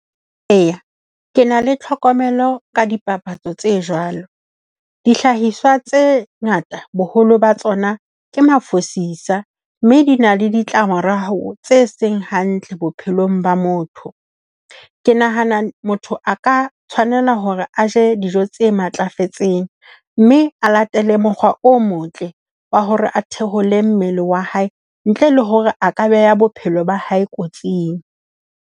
Eya, ke na le tlhokomelo ka dipapatso tse jwalo. Dihlahiswa tse ngata boholo ba tsona ke mafosisa, mme di na le ditlamorao tse seng hantle bophelong ba motho. Ke nahana motho a ka tshwanela hore a je dijo tse matlafetseng, mme a latele mokgwa o motle wa hore a theole mmele wa hae ntle le hore a ka beha bophelo ba hae kotsing.